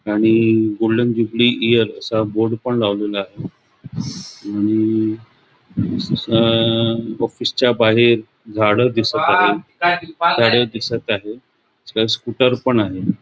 आणि golden jubilee year असा board पण लावलेला आहे आणि अ ऑफिसच्या बाहेर झाड दिसत आहे झाड दिसत आहे स्कूटर पण आहे.